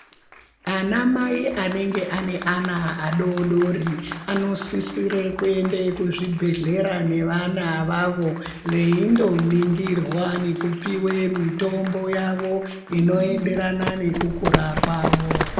Anamai anenge ane ana adodori anosisire kuende kuzvibhedhlera nevana avavo veindoningirwa nekupiwe mitombo yavo inoenderana nekukura kwavo.